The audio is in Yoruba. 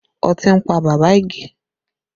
Ọtí ń pa bàbá Ige